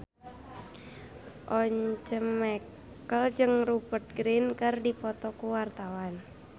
Once Mekel jeung Rupert Grin keur dipoto ku wartawan